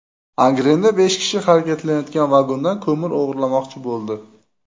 Angrenda besh kishi harakatlanayotgan vagondan ko‘mir o‘g‘irlamoqchi bo‘ldi.